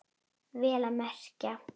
Vel að merkja.